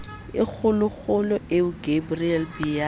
e kgolokgolo eo gabriel biala